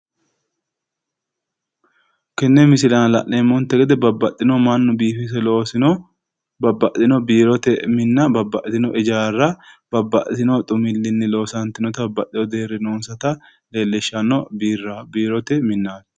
Tenne misile aana la'neemmonte gede babbaxxino mannu biifise loosino ijaarraati